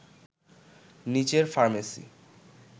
নিচের ফার্মেসি